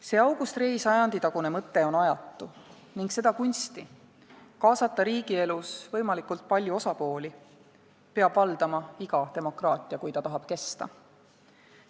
" See August Rei sajanditagune mõte on ajatu ning seda kunsti – kaasata riigielus võimalikult palju osapooli – peab valdama iga demokraatia, kui ta tahab kesta.